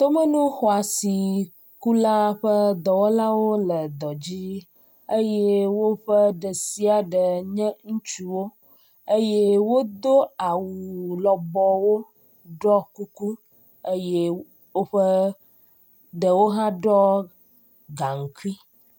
Tomenuxɔasiŋ kula ƒe dɔwɔlawo le dɔ dzi eye wóƒe ɖesiaɖe nye ŋutsuwo eye wodó awu lɔbɔwo ɖɔ kuku eye wóƒe ɖewo hã ɖɔ gaŋkui